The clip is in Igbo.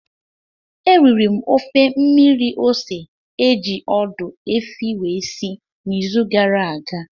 Eriri m ofe mmiri ose eji ọdụ efi wee si n'izu gara aga